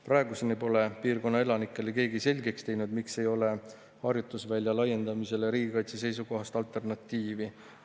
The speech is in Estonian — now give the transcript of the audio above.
Praeguseni pole piirkonna elanikele keegi selgeks teinud, miks ei ole harjutusvälja laiendamisele riigikaitse seisukohast alternatiivi.